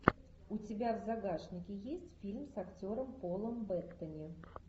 у тебя в загашнике есть фильм с актером полом беттани